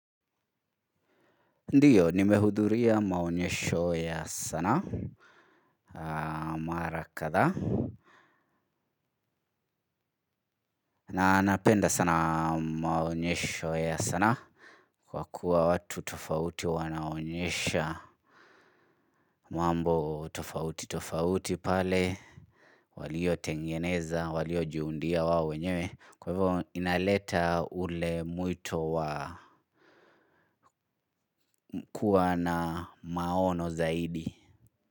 Ndiyo nimehudhuria maonyesho ya sanaa mara kadhaa na napenda sana maonyesho ya sanaa kwa kuwa watu tofauti wanaonyesha mambo tofauti tofauti pale walio tengeneza walio jiundia wao wenyewe. Kwa hivyo inaleta ule mwito wa kuwa na maono zaidi.